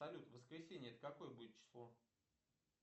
салют воскресенье это какое будет число